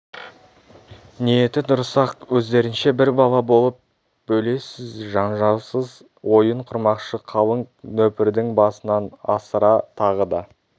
ниеті дұрыс-ақ өздерінше бір бала болып бөлесіз жанжалсыз ойын құрмақшы қалың нөпірдің басынан асыра тағы да